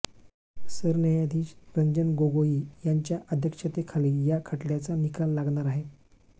सरन्यायाधीश रंजन गोगोई यांच्या अध्यक्षतेखाली या खटल्याचा निकाल लागणार आहे